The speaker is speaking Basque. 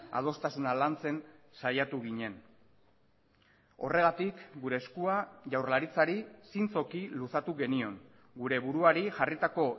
adostasuna lantzen saiatu ginen horregatik gure eskua jaurlaritzari zintzoki luzatu genion gure buruari jarritako